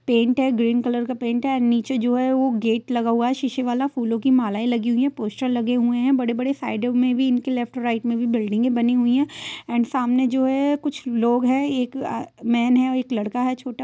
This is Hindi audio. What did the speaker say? पेंट है ग्रीन कलर का पेंट है नीचे जो है वह गेट लगा हुआ है शीशे वाला फूलों की मालाएं लगी हुई है पोस्टर लगे हुए हैं बड़े-बड़े साइडो में भी इनके लेफ्ट राइट में भी बिल्डिंगे बनी हुई है एंड सामने जो है कुछ एक अअ लोग हैं मैन है और एक लड़का है छोटा --